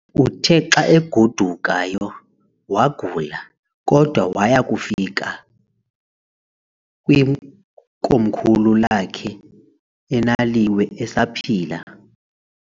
Uthe xa agodukayo wagula, kodwa waya wafika kwikomkhulu lakhe eNðliwe esaphila.